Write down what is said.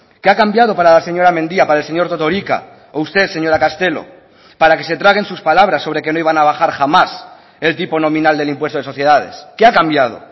qué ha cambiado para la señora mendia para el señor totorika o usted señora castelo para que se traguen sus palabras sobre que no iban a bajar jamás el tipo nominal del impuesto de sociedades qué ha cambiado